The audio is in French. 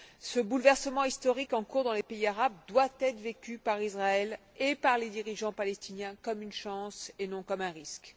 Ce bouleversement historique en cours dans les pays arabes doit être vécu par Israël et par les dirigeants palestiniens comme une chance et non comme un risque.